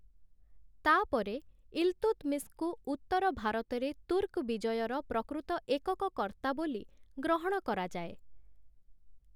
ତା' ପରେ ଇଲତୁତ୍‌ମିସ୍‌ଙ୍କୁ ଉତ୍ତରଭାରତରେ ତୁର୍କ ବିଜୟର ପ୍ରକୃତ ଏକକ କର୍ତ୍ତା ବୋଲି ଗ୍ରହଣ କରାଯାଏ ।